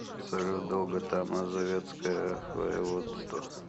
салют долгота мазовецкое воеводство